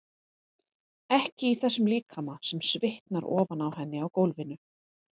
Ekki í þessum líkama sem svitnar ofan á henni á gólfinu.